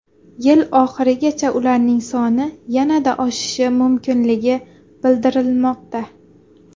Yil oxirigacha ularning soni yanada oshishi mumkinligi bildirilmoqda.